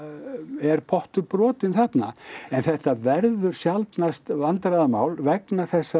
er pottur brotinn þarna en þetta verður sjaldnast vandræðamál vegna þess að